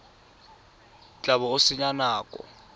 tla bo o senya nako